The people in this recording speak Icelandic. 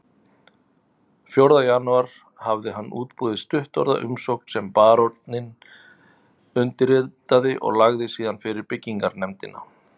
Fjórða janúar hafði hann útbúið stuttorða umsókn sem baróninn undirritaði og lagði síðan fyrir byggingarnefndina